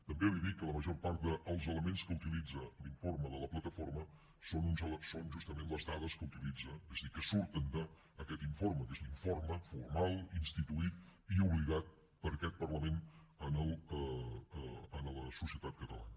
també li dic que la major part dels elements que utilitza l’informe de la plataforma són justament les dades que utilitza és a dir que surten d’aquest informe que és l’informe formal instituït i obligat per aquest parlament en la societat catalana